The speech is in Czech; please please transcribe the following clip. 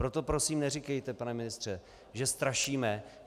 Proto prosím neříkejte, pane ministře, že strašíme.